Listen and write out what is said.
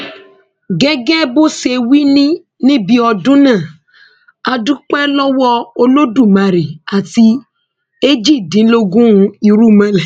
gẹgẹ bó ṣe wí ní níbi ọdún náà a dúpẹ lọwọ olódùmarè àti èjìdínlógún irúnmọlẹ